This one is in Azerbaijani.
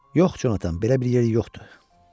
Yox, Conatan, belə bir yer yoxdur.